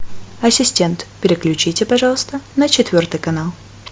ассистент переключите пожалуйста на четвертый канал